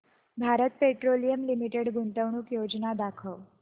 Bharat petroleum limited गुंतवणूक योजना दाखव